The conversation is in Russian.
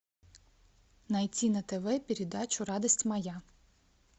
найти на тв передачу радость моя